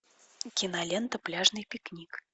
кинолента пляжный пикник